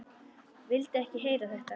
Vildi ekki heyra þetta!